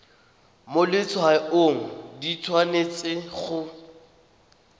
mo letshwaong di tshwanetse go